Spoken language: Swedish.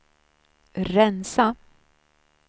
rensa